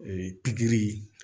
pikiri